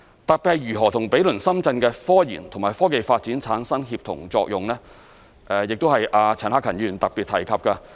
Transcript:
特別是如何與毗鄰深圳的科研與科技發展產生協同作用，這是陳克勤議員特別提及的。